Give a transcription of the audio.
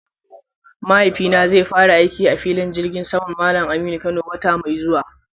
Mahaifina zai fara aiki a filin jirgi saman Mallam Aminu Kano wata mai zuwa.